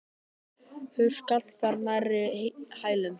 Hurð skall þar nærri hælum.